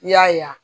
I y'a ye wa